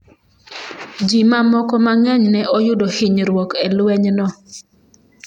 Ji mamoko mang’eny ne oyudo hinyruok e lwenyno.